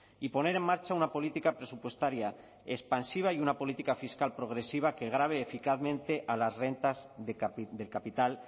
y poner en marcha una política presupuestaria expansiva y una política fiscal progresiva que grave eficazmente a las rentas del capital